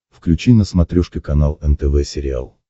включи на смотрешке канал нтв сериал